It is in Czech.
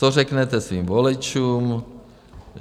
Co řeknete svým voličům?